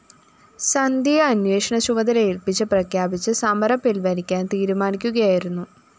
സന്ധ്യയെ അന്വേഷണ ചുമതല ഏല്‍പ്പിച്ച പ്രഖ്യാപിച്ച് സമരം പിന്‍വലിക്കാന്‍ തിരുമാനിക്കുകയായിരുന്നു